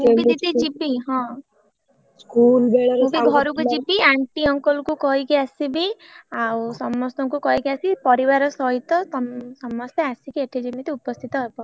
ମୁ ବି ଦିଦି ଜୀବି ହଁ ମୁ ବି ଘରକୁ ଜୀବି aunty uncle ଙ୍କୁ କହିକି ଆସିବି ଆଉ ସମସ୍ତଙ୍କୁ କହିକି ଆସିବି ପରିବାର ସହିତ ତମେ ସମସ୍ତେ ଆସିକି ଏଠି ଯେମିତି ଉପସ୍ଥିତ ହବ।